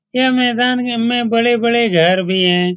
ये मैदान मे हमे बड़े-बड़े घर भी हैं।